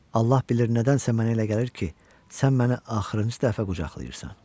Allah bilir nədənsə mənə elə gəlir ki, sən məni axırıncı dəfə qucaqlayırsan.